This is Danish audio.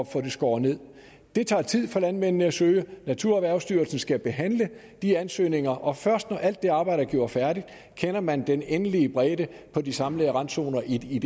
få det skåret nederst det tager tid for landmændene at søge naturerhvervstyrelsen skal behandle de ansøgninger og først når alt det arbejde er gjort færdig kender man den endelige bredde på de samlede randzoner i